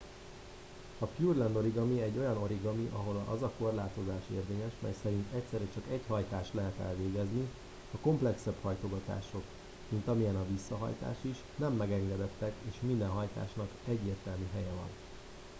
a pureland origami egy olyan origami ahol az a korlátozás érvényes mely szerint egyszerre csak egy hajtást lehet elvégezni a komplexebb hajtogatások mint amilyen a visszahajtás is nem megengedettek és minden hajtásnak egyértelmű helye van